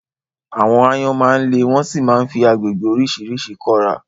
Àwọn áyọ́n má ń le wọ́n sì máa fi agbègbè oríṣiríṣi kọ́ra